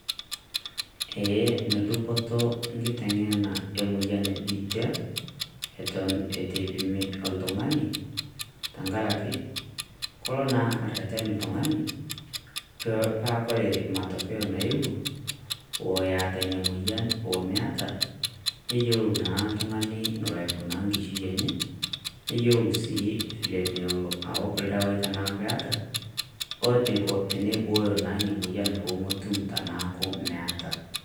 Ee enedupoto engitenge'ena emoyian ebiitia, Eton eitu eipimi oltung'ani tengaraki kelo naa orreten oltung'ani paa kore matokeyo nayewuo oeta Ina moyian omeeta neyieu naa oltung'ani enelo aikunaa enkishui enye, neyieu sii enelo aok ildawaii tenetaa keeta oneiko tenibooyo naa ina moyian peemetum teneeku meeta.